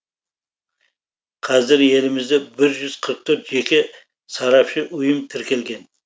қазір елімізде бір жүз қырық төрт жеке сарапшы ұйым тіркелген